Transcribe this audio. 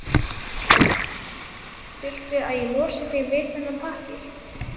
Viltu að ég losi þig við þennan pappír?